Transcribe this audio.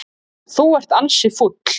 Þú ert ansi fúll.